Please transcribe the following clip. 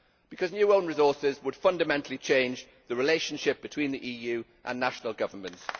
Because new own resources would fundamentally change the relationship between the EU and national governments.